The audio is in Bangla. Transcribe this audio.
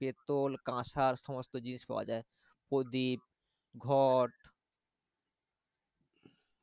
পেতল কাঁসার সমস্ত জিনিস পাওয়া যায় প্রদীপ ঘট।